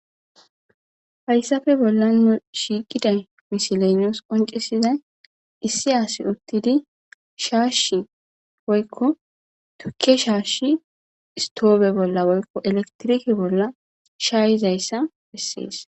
Hayisappe bollan shiqiza misileyi qoncisidayi issi assi uttidi shashi woyiko tuke shashi isitobe bolla shayizayissa bessesi.